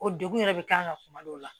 O degun yɛrɛ bɛ k'an kan kuma dɔw la